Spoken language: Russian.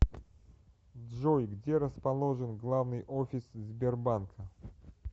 джой где расположен главный офис сбербанка